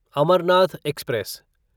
Amarnath express